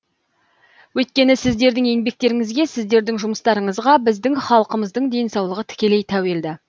өйткені сіздердің еңбектеріңізге сіздердің жұмыстарыңызға біздің халқымыздың денсаулығы тікелей тәуелді